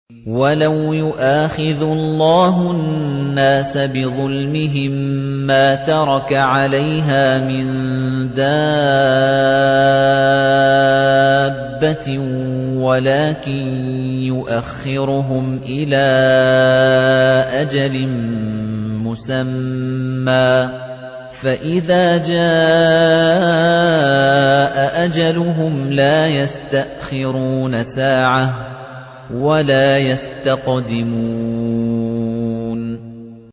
وَلَوْ يُؤَاخِذُ اللَّهُ النَّاسَ بِظُلْمِهِم مَّا تَرَكَ عَلَيْهَا مِن دَابَّةٍ وَلَٰكِن يُؤَخِّرُهُمْ إِلَىٰ أَجَلٍ مُّسَمًّى ۖ فَإِذَا جَاءَ أَجَلُهُمْ لَا يَسْتَأْخِرُونَ سَاعَةً ۖ وَلَا يَسْتَقْدِمُونَ